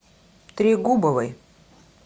трегубовой